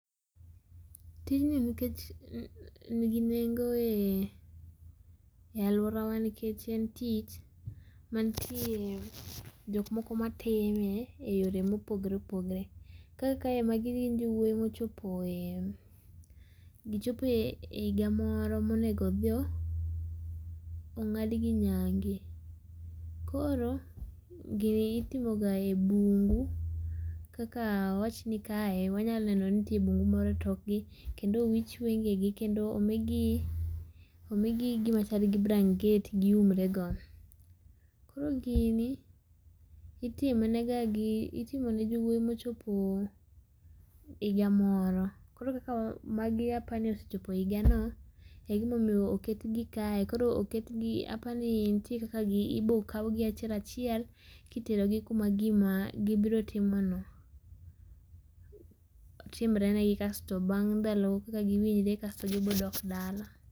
Tijni nkech nigi nengo e eeh aluorawa nkech en tich mantie jok moko matime e yore mopogre opogre. Kaka kae magi gin jowuoyi mochopoe eeh gichopo e higa moro monego odhio ng'adgi nyange. Koro gini itimo ga e bungu, kaka awachni kae wanyanyaneno ni ntie bungu moro e tokgi kendo owich wenge gi kendo omigi omigi gima chal gi branget giumrego. Koro gini itimo negagi itimo ne jowuoyi mochopo higa moro. Koro kaka wa magi apani osechopo higano, e gimomio oketgi kae koro oket gi apani ntie kaka gi ibokaugi achiel achiel kiterogi kuma gima gibrotimo no timrenegi kasto bang' ndalo kaka giwinjre kasto gibodok dala.